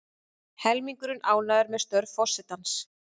Helmingur ánægður með störf forsetans